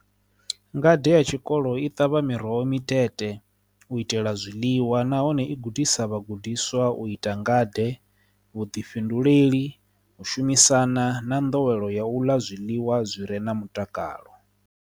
Ngade ya tshikolo i ṱavha miroho mitete u itela zwiḽiwa nahone i gudisa vhagudiswa u ita nga ḓe vhuḓifhinduleli u shumisana na ndowelo ya u ḽa zwiḽiwa zwire na mutakalo.